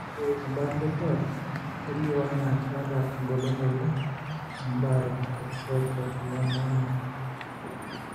Ore embaata orkuak kelio anaa keeta engolon oleng embaare teTrichotillomania.